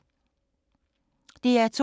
DR2